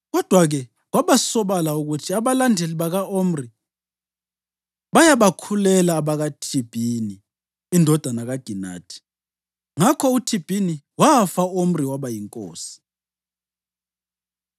Kodwa-ke kwabasobala ukuthi abalandeli baka-Omri bayabakhulela abakaThibhini indodana kaGinathi. Ngakho uThibhini wafa u-Omri waba yinkosi.